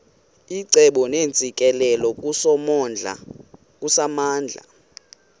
icebo neentsikelelo kusomandla